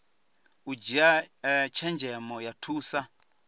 u dzhia tshenzhemo ya thusa